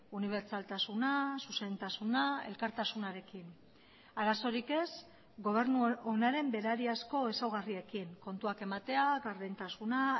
unibertsaltasuna zuzentasuna elkartasunarekin arazorik ez gobernu onaren berariazko ezaugarriekin kontuak ematea gardentasuna